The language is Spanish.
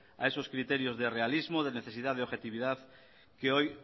a esos criterios de realismo de necesidad de objetividad que hoy